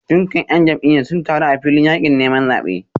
Dukkan ‘yan jam’iyyar sun taru a filin yakin neman zabe